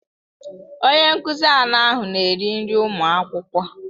Onye nkuzi anọ ahụ na-eri nri ụmụ akwụkwọ.